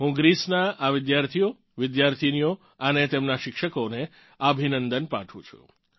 હું ગ્રીસનાં આ વિદ્યાર્થીઓવિદ્યાર્થિનીઓને અને તેમનાં શિક્ષકોને અભિનંદન પાઠવું છું